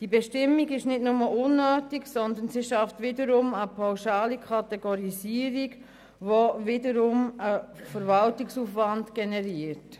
Die neue Bestimmung ist nicht nur unnötig, sondern sie schafft eine pauschale Kategorisierung, die wiederum einen Verwaltungsaufwand generiert.